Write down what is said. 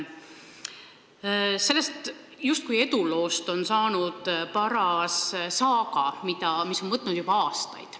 Sellest justkui eduloost on saanud paras saaga, mis on võtnud juba aastaid.